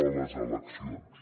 a les eleccions